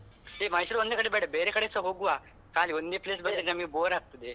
ಹೇ ಮೈಸೂರು ಒಂದೇ ಕಡೆ ಬೇಡ, ಬೇರೆ ಕಡೆಸ ಹೋಗುವ ಖಾಲಿ ಒಂದೇ place ಅದೇ ಬೇಡ ನಮ್ಗೆ bore ಆಗ್ತದೆ. ನಮ್ಗೆ bore ಆಗ್ತದೆ